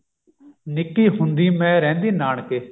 ਨਿੱਕੀ ਹੁੰਦੀ ਮਾਈ ਰਹਿੰਦੀ ਨਾਨਕੇ